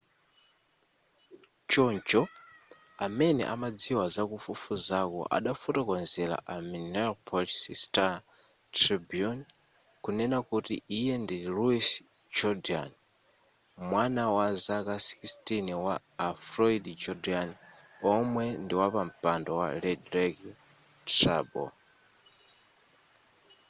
choncho amene amadziwa zakufufuzaku adafotokozera a minneapolis star-tribune kunena kuti iye ndi louis jourdain mwana wazaka 16 wa a floyd jourdain omwe ndiwapampando wa red lake tribal